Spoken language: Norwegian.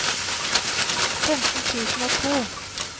femten tusen og to